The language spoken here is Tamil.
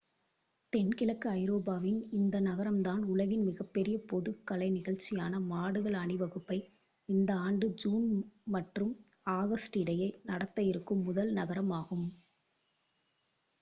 தென்கிழக்கு ஐரோப்பாவின் இந்த நகரம் தான் உலகின் மிகப்பெரிய பொது கலை நிகழ்சியான மாடுகள் அணிவகுப்பை இந்த ஆண்டு ஜூன் மற்றும் ஆகஸ்ட் இடையே நடத்த இருக்கும் முதல் நகரம் ஆகும்